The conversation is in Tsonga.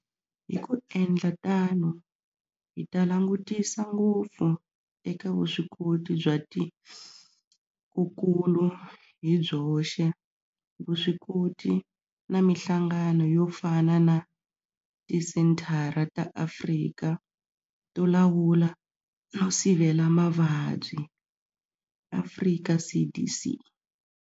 Hi ku endla tano hi ta langutisa ngopfu eka vuswikoti bya tikokulu hi byoxe, vuswikoti na mihlangano yo fana na Tisenthara ta Afrika to Lawula no Sivela Mavabyi, Afrika CDC.